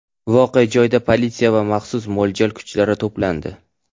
Voqea joyiga politsiya va maxsus mo‘ljal kuchlari to‘plandi.